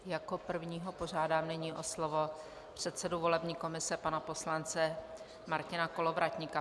Jako prvního požádám nyní o slovo předsedu volební komise pana poslance Martina Kolovratníka.